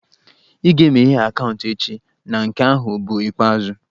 Ị ga-emeghe akaụntụ echi na nke ahụ bụ ikpeazụ!